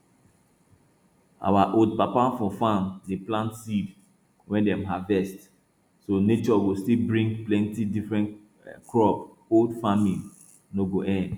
our old papa for farm dey plant seed wey dem harvest so nature go still bring plenty different crop old farming no go end